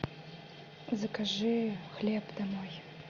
закажи хлеб домой